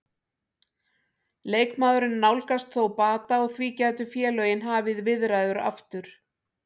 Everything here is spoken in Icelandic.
Leikmaðurinn nálgast þó bata og því gætu félögin hafið viðræður aftur.